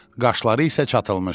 Qaşları isə çatılmışdı.